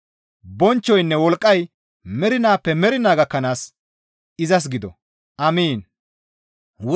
Bonchchoynne wolqqay mernaappe mernaa gakkanaas izas gido. Amiin.